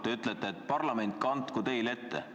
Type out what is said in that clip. Te ütlete, et parlament kandku teile ette.